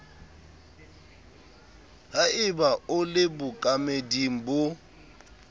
haeba o le bookameding bo